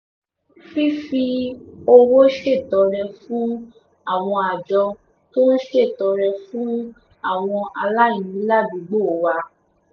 fífi owó ṣètọrẹ fún àwọn àjọ tó ń ṣètọrẹ fún àwọn aláìní ládùúgbò wa